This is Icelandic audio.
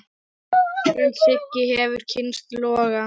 En Siggi hefur kynnst loga.